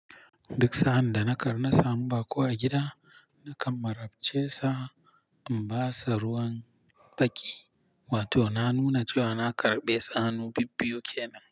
Duk sa'ad da na kar na samu baƙo a gida, nakan marabce sa in ba sa ruwan faki, wato na nuna cewa na karɓe sa hanu bibbiyu ke nan.